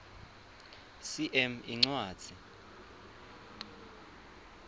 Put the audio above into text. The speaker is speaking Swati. cm incwadzi